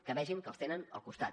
que vegin que els tenen al costat